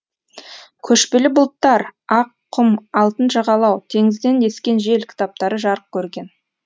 көшпелі бұлттар ақ құм алтын жағалау теңізден ескен жел кітаптары жарық көрген